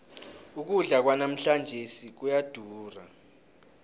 ukudla kwanamhlanjesi kuyadura